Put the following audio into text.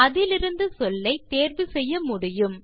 அதிலிருந்து சொல்லை தேர்வு செய்ய முடியும்